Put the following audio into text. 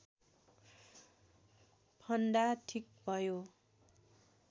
फन्दा ठिक्क भयो